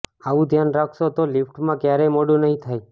આવું ધ્યાન રાખશો તો લિફ્ટમાં ક્યારેય મોડું નહીં થાય